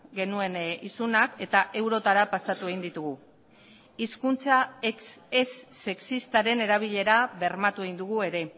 genuen isunak eta eurotara pasatu egin ditugu hizkuntza ez sexistaren erabilera bermatu egin dugu ere